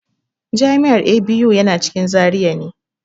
Jami'ar ABU yana cikin Zaria ne.